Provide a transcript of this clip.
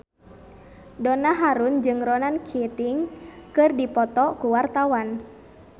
Donna Harun jeung Ronan Keating keur dipoto ku wartawan